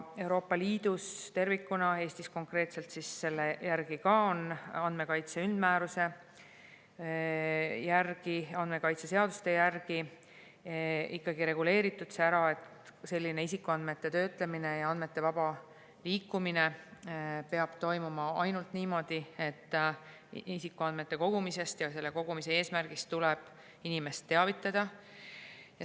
Euroopa Liidus tervikuna ja Eestis konkreetselt on andmekaitse üldmääruse ja andmekaitse seaduste järgi ikkagi ära reguleeritud, et isikuandmete töötlemine ja andmete vaba liikumine peab toimuma ainult niimoodi, et isikuandmete kogumisest ja selle kogumise eesmärgist tuleb inimest teavitada.